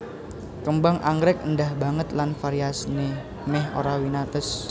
Kembang anggrèk éndah banget lan variasiné mèh ora winates